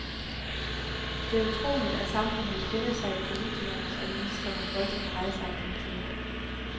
Det er utroligt, at samfundet vil finde sig i politikernes og ministrenes voldsomme rejseaktivitet.